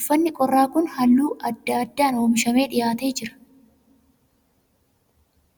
Uffatni qorraa kun halluu adda addaan oomishamee dhiyaatee jira.